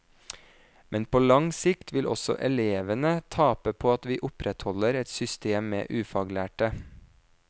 Men på lang sikt vil også elevene tape på at vi opprettholder et system med ufaglærte.